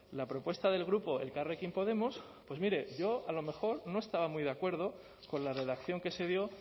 la propuesta del grupo elkarrekin podemos pues mire yo a lo mejor no estaba muy de acuerdo con la redacción que se dio